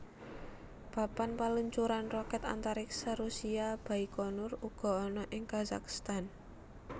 Papan paluncuran rokèt antariksa Rusia Baikonur uga ana ing Kazakhstan